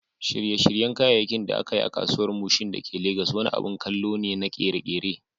Shirye-shiryen kayayyakin da aka yi a Kasuwar Mushin da ke Legas wani abin kallo ne na ƙere-ƙere.